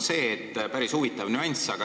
Ja üks päris huvitav nüanss veel.